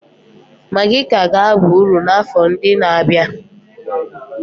Magi ka ga-aba uru n'afọ ndị na-abịa.